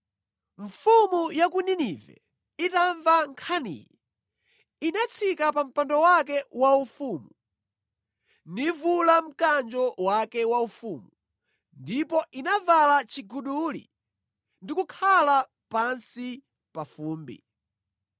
Mfumu ya ku Ninive itamva nkhaniyi, inatsika pa mpando wake waufumu, nivula mkanjo wake waufumu ndipo inavala chiguduli ndi kukhala pansi pa fumbi.